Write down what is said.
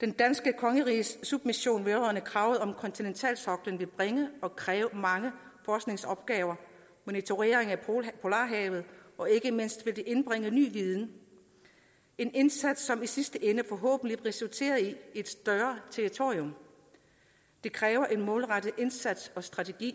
det danske kongeriges submission vedrørende kravet om kontinentalsoklen vil bringe og kræve mange forskningsopgaver monitorering af polarhavet og ikke mindst vil det indbringe ny viden en indsats som i sidste ende forhåbentlig resulterer i et større territorium det kræver en målrettet indsats og strategi